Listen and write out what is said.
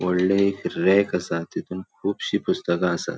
वोडले एक रेक असा तिथून कुबशी पुस्तका आसात.